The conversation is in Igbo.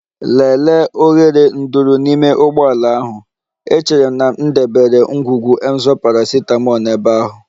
Lelee oghere nduru n'ime ụgbọ ala ahụ, echere m na m debere ngwugwu Emzor paracetamol n'ebe ahụ.